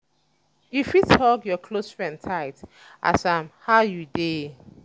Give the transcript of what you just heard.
you fit hug your close friend tight ask am 'how you dey'?